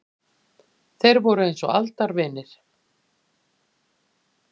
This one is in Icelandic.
Þeir voru eins og aldavinir.